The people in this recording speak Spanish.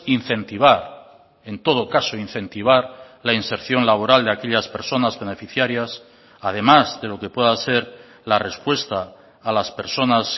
incentivar en todo caso incentivar la inserción laboral de aquellas personas beneficiarias además de lo que pueda ser la respuesta a las personas